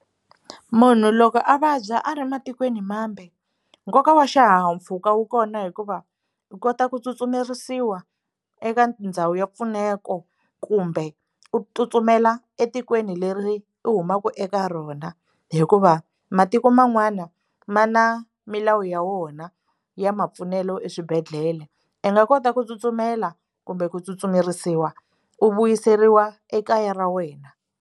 Munhu loko a vabya a ri matikweni mambe nkoka wa xihahampfhuka wu kona hikuva u kota ku tsutsumerisiwa eka ndhawu ya mpfuneko kumbe u tsutsumela etikweni leri u humaka eka rona hikuva matiko man'wana ma na milawu ya wona ya mapfunelo eswibedhlele i nga kota ku tsutsumela kumbe ku tsutsumerisiwa u vuyiseriwa ekaya ra wena.